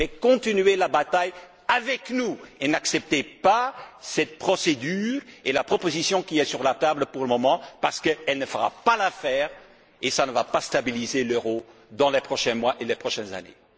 Mais continuez la bataille avec nous et n'acceptez pas cette procédure ni la proposition qui est sur la table pour le moment, parce qu'elle ne fera pas l'affaire, et ça ne va pas stabiliser l'euro dans les prochains mois et les prochaines années.